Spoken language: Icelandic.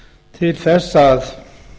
til þess að